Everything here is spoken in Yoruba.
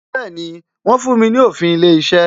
Bẹẹni, wọ́n fún mi ní òfin ilé iṣẹ́